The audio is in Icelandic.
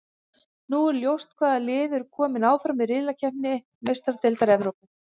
Nú er ljóst hvaða lið eru kominn áfram í riðlakeppni Meistaradeildar Evrópu.